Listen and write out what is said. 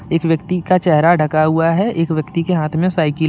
एक व्यक्ति का चेहरा ढका हुआ है एक व्यक्ति के हाथ में साइकिल ह--